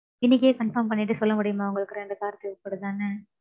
இன்னிக்கே confirm பன்னிட்டு சொல்ல முடியுமா உங்களுக்கு ரெண்டு கார் தேவை படுதான்னு?